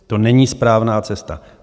To není správná cesta".